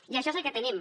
i això és el que tenim